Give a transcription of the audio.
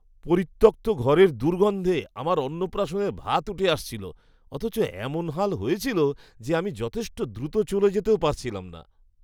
পরিত্যক্ত ঘরের দুর্গন্ধে আমার অন্নপ্রাশনের ভাত উঠে আসছিল। অথচ, এমন হাল হয়েছিল যে, আমি যথেষ্ট দ্রুত চলে যেতেও পারছিলাম না।